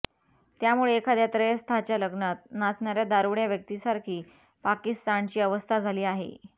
त्यामुळे एखाद्या त्रयस्थाच्या लग्नात नाचणाऱ्या दारूड्या व्यक्तीसारखी पाकिस्तानची अवस्था झाली आहे